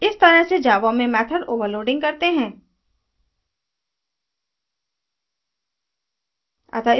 इस तरह से java में method overloading करते हैं